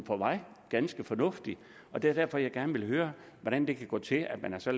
for mig ganske fornuftigt det er derfor jeg gerne vil høre hvordan det kan gå til at man så